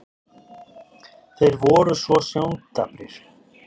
þeir voru svo sjóndaprir.